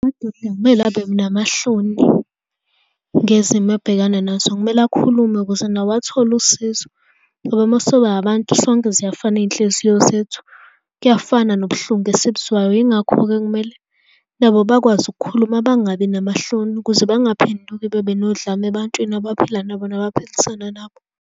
Amadoda akumele abe namahloni ngezimo abhekana nazo. Kumele akhulume ukuze nawo athole usizo ngoba uma soba abantu sonke ziyafana iy'nhliziyo zethu, kuyafana nobuhlungu esibuzwayo. Yingakho-ke kumele nabo bakwazi ukukhuluma, bangabi namahloni ukuze bangaphenduki babe nodlame ebantwini abaphila nabo noma abaphilisana nabo.